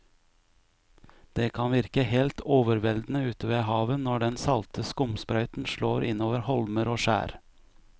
Det kan virke helt overveldende ute ved havet når den salte skumsprøyten slår innover holmer og skjær.